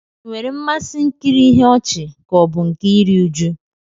Ị nwere mmasị nkiri ihe ọchị ka ọ bụ nke iri uju?